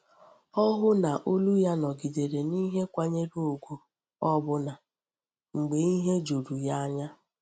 Ọ hụ na olu ya nọgidere n’ihe kwanyere ugwu, ọbụna mgbe ihe juru ya anya.